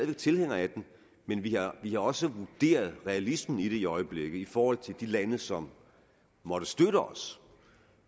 er tilhænger af den men vi har også vurderet realismen i det i øjeblikket i forhold til de lande som måtte støtte os